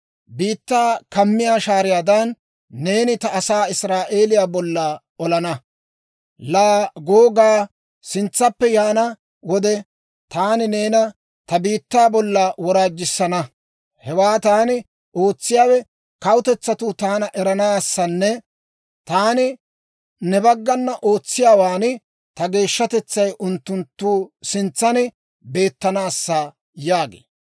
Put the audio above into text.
Biittaa kammiyaa shaariyaadan, neeni ta asaa Israa'eeliyaa bolla olana. Laa Googaa, sintsappe yaana wode, taani neena ta biittaa bolla woraajjissana. Hewaa taani ootsiyaawe kawutetsatuu taana eranaassanne taani ne baggana ootsiyaawaan ta geeshshatetsay unttunttu sintsan beettanaassa› » yaagee.